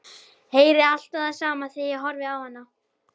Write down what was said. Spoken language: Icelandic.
Heyri alltaf það sama þegar ég horfi á hana.